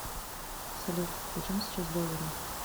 салют почем сейчас доллары